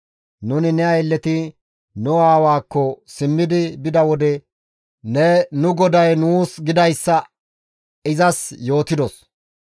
Nuni ne aylleti nu aawaakko simmi bida wode ne nu goday nuus gidayssa izas yootidos.